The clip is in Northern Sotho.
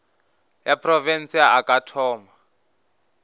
ya profense a ka thoma